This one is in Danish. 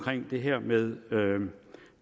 det her med